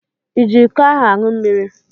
I ji iko ahụ aṅụ mmiri?